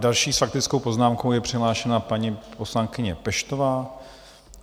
Další s faktickou poznámkou je přihlášena paní poslankyně Peštová.